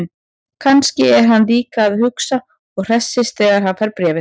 Kannski er hann líka að hugsa og hressist þegar hann fær bréfið.